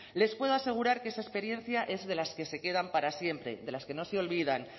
les puedo asegurar que esa experiencia es de las que se quedan para siempre de las que no se olvidan